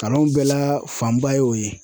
Kalan bɛɛ la fanba ye o ye.